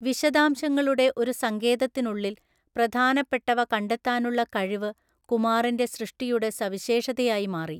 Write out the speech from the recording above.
വിശദാംശങ്ങളുടെ ഒരു സങ്കേതത്തിനുള്ളിൽ പ്രധാനപ്പെട്ടവ കണ്ടെത്താനുള്ള കഴിവ് കുമാറിന്റെ സൃഷ്ടിയുടെ സവിശേഷതയായി മാറി.